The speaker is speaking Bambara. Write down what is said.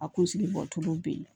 A kunsigi bɔcogo bɛ yen